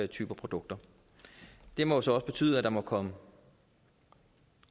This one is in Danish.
typer produkter det må så også betyde at der må komme